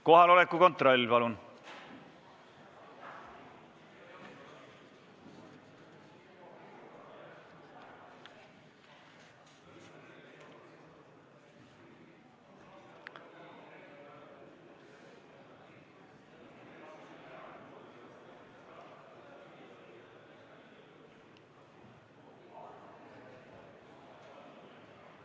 Kohaloleku kontroll, palun!